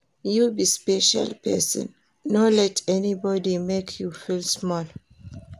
You be special person, no let anybody make you feel small.